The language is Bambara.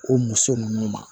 O muso ninnu ma